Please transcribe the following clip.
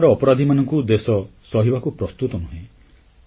ବଳାତ୍କାର ଅପରାଧୀମାନଙ୍କୁ ଦେଶ ସହିବାକୁ ପ୍ରସ୍ତୁତ ନୁହେଁ